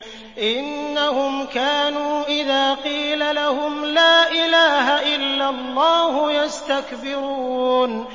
إِنَّهُمْ كَانُوا إِذَا قِيلَ لَهُمْ لَا إِلَٰهَ إِلَّا اللَّهُ يَسْتَكْبِرُونَ